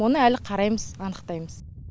оны әлі қараймыз анықтаймыз